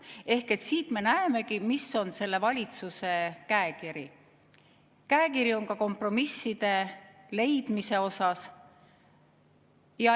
Ehk siit me näemegi, mis on selle valitsuse käekiri, ka kompromisside leidmise mõttes.